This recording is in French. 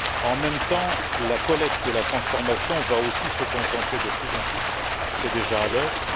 En même temps, la collecte et la transformation vont aussi se concentrer de plus en plus, c'est déjà à l'œuvre.